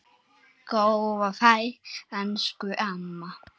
Góða ferð elsku amma.